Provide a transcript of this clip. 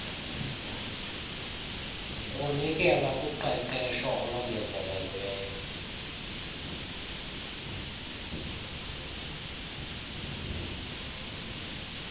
kunikelwa kuqeqesho olongezelelweyo